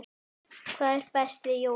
Hvað er best við jólin?